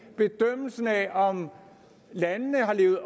bedømmelsen af om landene har levet